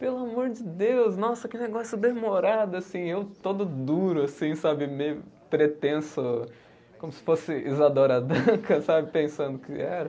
Pelo amor de Deus, nossa, que negócio demorado, assim, eu todo duro, assim, sabe, meio pretenso, como se fosse Isadora Duncan, sabe, pensando o que era.